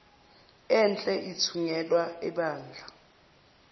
enhle ithungelwa ebandla